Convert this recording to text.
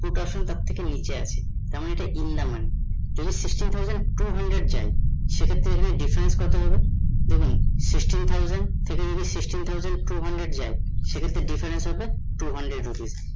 put option তার থেকে নিচে আছে, তার মনে ইটা in the money যদি sixteen thousand two holder যায় সে ক্ষেত্রে difference কত হবে? দেখুন sixteen thousand থেকে যদি sixteen thousand two hundred যায় সে ক্ষেত্রে difference হবে two hundred rupees